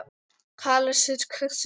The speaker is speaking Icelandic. Kleópatra, hver syngur þetta lag?